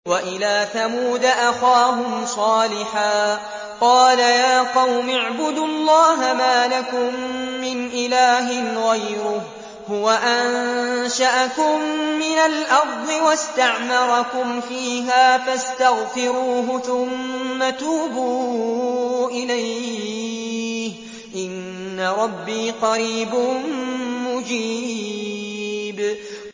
۞ وَإِلَىٰ ثَمُودَ أَخَاهُمْ صَالِحًا ۚ قَالَ يَا قَوْمِ اعْبُدُوا اللَّهَ مَا لَكُم مِّنْ إِلَٰهٍ غَيْرُهُ ۖ هُوَ أَنشَأَكُم مِّنَ الْأَرْضِ وَاسْتَعْمَرَكُمْ فِيهَا فَاسْتَغْفِرُوهُ ثُمَّ تُوبُوا إِلَيْهِ ۚ إِنَّ رَبِّي قَرِيبٌ مُّجِيبٌ